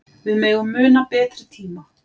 Við megum muna betri tíma.